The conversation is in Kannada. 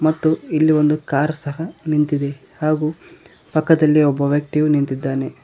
ಮತ್ತು ಇಲ್ಲಿ ಒಂದು ಕಾರ್ ಸಹ ನಿಂತಿದೆ ಹಾಗು ಪಕ್ಕದಲ್ಲಿಯು ಒಬ್ಬ ವ್ಯಕ್ತಿಯು ನಿಂತಿದ್ದಾನೆ.